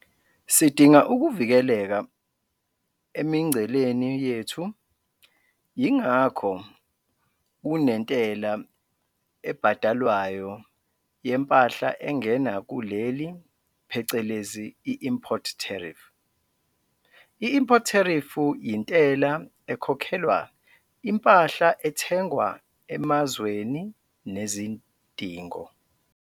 Sidinga ukuvikeleka emingceleni yethu yingakho kunentela ebhadalwayo yempahla engena kuleli phecelezi import tariff. I-import tariff yintela ekhokhelwa impahla ethengwa emazweni nezidingo.